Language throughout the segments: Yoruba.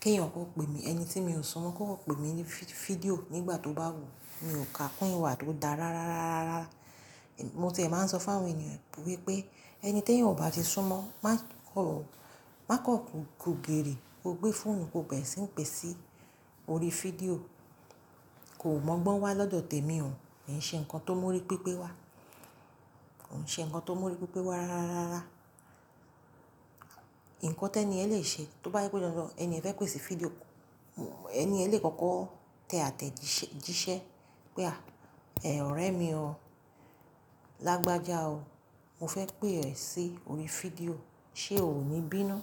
kí èèìyàn kọ pè mí. Ẹni tí mi ò sunmọ́ kó kọpè mí ní fí-fídíò nígbà tó bá wù ú, mi ò kà kún ìwà tó dá rárá rárá rárá. Mo tiẹ̀ máa ń sọ fún àwọn ènìyàn wípé, ẹni tí èèyan ò bá ti súnmọ́, má kọ̀, má kọ ko ko giirii, kó gbé fóònù kó bẹ̀ẹ sì ń pè sí orí fídíò. Kò mọ́gbọ́n wá lọ́dọ̀ tèmi o. Kii ń ṣe nǹkan tó mọ́rí pípé wá. Kò ń ṣe nǹkan tó mọ́rí pípé wá rárá rárá rárá. Ǹkan tẹ́ni yẹn lè ṣe tó bá ẹ pé dandan ẹni yẹn fẹ́ pè sí fídíò, ẹniyẹn lè kọ́kọ́ tẹ àtẹ̀jíṣẹ́ pé à, ẹ̀, ọ̀rẹ́ mi ọ, lágbájá o, mo fẹ́ pè ẹ́ sí orí fídíò, ṣe òo ní bí inú?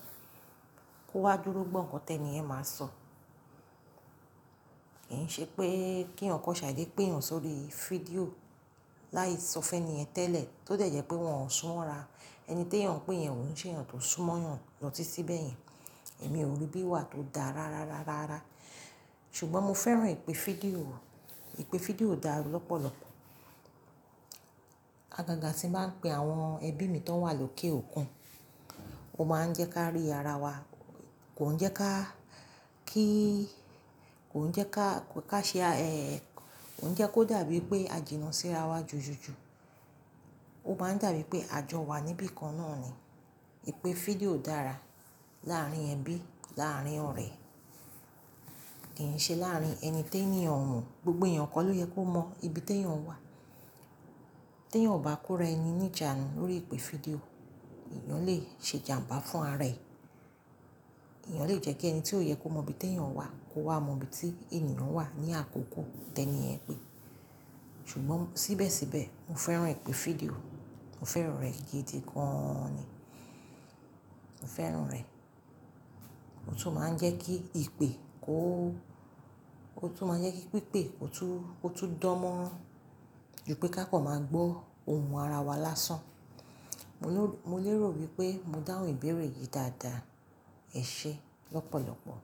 Kó wá dúró gbọ́ ǹkan tẹ́ni yẹn máa sọ. Kì í n ṣe pé kí ẹ̀eyàn kọ ṣàidé pè èeyàn sórí fídíò láì sọ fún ẹniyẹ̀n tẹ́lẹ̀ tó dẹ̀ jẹ pé wọn ò súnmọ́ ra. Ẹni tí ẹ̀yàn ń pè yẹn ò n ṣe èeyàn tó súnmọ́ yàn lọ́tí ti bẹ́ẹ̀ yẹn. Èmi ò rí bí wà tó dá rárá rárá rárá. Ṣùgbọ́n mo fẹ́ràn ìpè fídíò. Ìpè fídíò dára lọ́pọ̀lọpọ̀. Àgàgà tí ń bá pè àwọn ẹbí mi tó wà lókè òkun, ó máa ń jẹ́ ká rí ara wa. Kò ń jẹ́ ká, kí, kò ń jẹ́ ká, ká ṣe, ẹ́, kò ń jẹ́ kó dàbí pé a jìnnà sí ara wa jùjùjù. Ó máa ń dàbí pé a jọ wà níbi kan náà ni. Ìpè fídíò dára láàárín ẹbí, láàárín ọ̀rẹ́. Kì í n ṣe láàárín ẹni tí ènìyàn o mọ̀. Gbogbo ẹ̀yàn kọ́ ló yẹ kó mọ ibi tí ẹ̀yàn wà. Tí ẹ̀yàn ò bá kó ra ẹni ní ìjánu lórí ìpè fídíò, ẹ̀yàn lè ṣe ìjàǹbá fún ara ẹ̀. Ẹ̀yàn lè jẹ́ kí ẹni tí ó yẹ kó mọ ibi tí ẹ̀yàn wà kó wá mọ ibi tí ènìyàn wà ní àkókò tẹ́ni yẹn pè. Ṣùgbọ́n síbẹ̀síbẹ̀, mo fẹ́ràn ìpè fídíò. Mo fẹ́ràn rẹ̀ gidi gan an ni. Mo fẹ́ràn rẹ̀. Ó tún máa ń jẹ́ kí ìpè kó, ó tún máa ń jẹ́ kí pípé ó tún, kó tún dánmọ́ran jù pé ká pọ̀ máa gbọ́ ohùn ara wa lásán. Mo ló, mo lérò wípé mo dáhùn ìbéèrè yìí dáadáa. Ẹ ṣe lọ́pọ̀lọpọ̀.